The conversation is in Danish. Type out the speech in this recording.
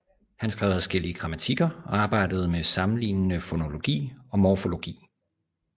Han skrev adskillige grammatikker og arbejdede med sammenlignende fonologi og morfologi